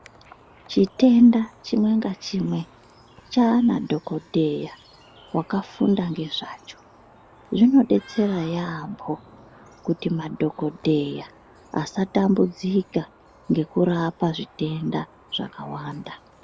Chitenda chimwe ngachimwe chana dhokodheya wakafunda ngezvacho. Zvimodetsera yaambo kuti madhokodheya asatambudzika ngekurapa zvitenda zvakawanda.